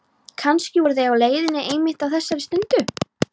Kannski voru þeir á leiðinni einmitt á þessari stundu.